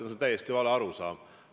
See on täiesti vale arusaam.